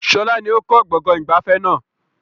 Sọlá ni ó kọ́ gbọ̀ngàn ìgbafẹ́ náà